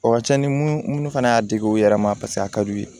O ka ca ni minnu fana y'a dege u yɛrɛ ma paseke a ka di u ye